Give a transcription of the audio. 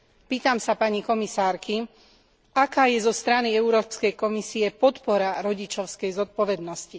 Pýtam sa pani komisárky aká je zo strany Európskej komisie podpora rodičovskej zodpovednosti?